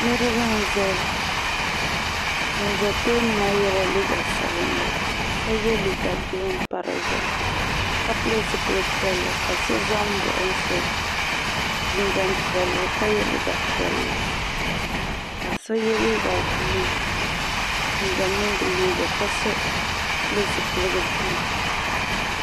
Niriba n zaya ŋun za tooni maa yela liiga sabinli ka liiga girin pa di zuɣu ka pili zipil'piɛlli ka so za m baɣi so jinjiɛm piɛlli ka ye liiga piɛlli ka so ye liiga buluu jinjiɛm mini di liiga ka so pili zipiligu buluu.